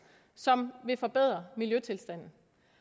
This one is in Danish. som vil forbedre miljøtilstanden